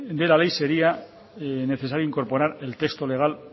de la ley sería necesario incorporar el texto legal